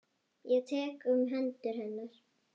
Ég tek um hönd hennar.